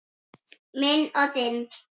Minn og þinn.